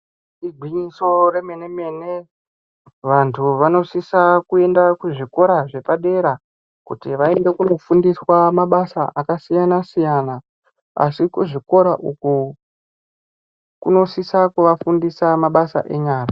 Igwinyiso remene mene vantu vanosise kuenda kuzvikora zvepadera kiti vaende kunofundiswa mabasa akasiyana siyana. Asi kuzvikora uko kunosisa kuvafundisa mabasa enyara.